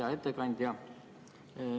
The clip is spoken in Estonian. Hea ettekandja!